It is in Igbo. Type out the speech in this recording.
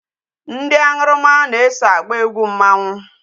Ndị aṅụrụma na-eso agba egwu mmanwụ.